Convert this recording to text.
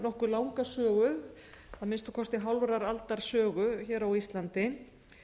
nokkuð langa sögu að minnsta kosti hálfrar aldar sögu hér á íslandi